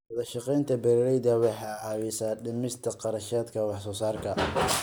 Wadashaqeynta beeralayda waxay caawisaa dhimista kharashaadka wax soo saarka.